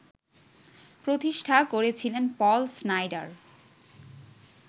প্রতিষ্ঠা করেছিলেন Paul Snyder